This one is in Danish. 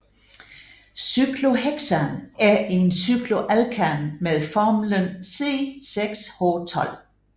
Cyklohexan er en cykloalkan med formlen C6H12